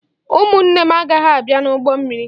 Ụmụnne m agaghị abịa n'ụgbọ mmiri.